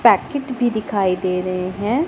Packet भी दिखाई दे रहे हैं।